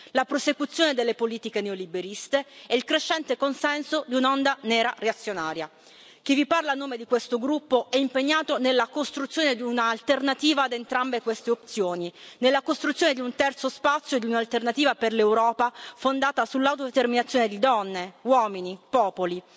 la prosecuzione delle politiche neoliberiste e il crescente consenso di un'onda nera reazionaria. Chi vi parla a nome di questo gruppo è impegnato nella costruzione di un'alternativa ad entrambe queste opzioni nella costruzione di un terzo spazio e di un'alternativa per l'Europa fondata sull'autodeterminazione di donne, uomini, popoli.